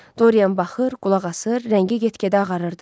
Dorian baxır, qulaq asır, rəngi get-gedə ağarırdı.